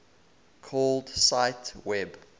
called cite web